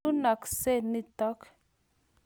Iunakse nitok.